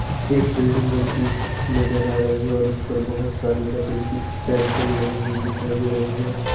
एक बिल्डिंग बनती नज़र आ रही और उसपर बहुत सारी लकड़ीकी सेंटरिंग लगी हुई दिखाई दे रही है।